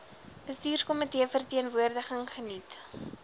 bestuurskomitee verteenwoordiging geniet